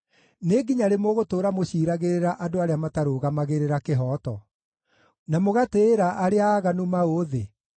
“Nĩ nginya rĩ mũgũtũũra mũciiragĩrĩra andũ arĩa matarũgamagĩrĩra kĩhooto, na mũgatĩĩra arĩa aaganu maũthĩ?